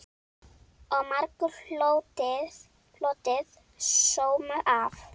Og margur hlotið sóma af.